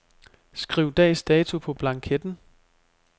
Skriv dags dato på blanketten.